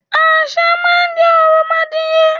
Àṣá má n jẹ òròmoadìye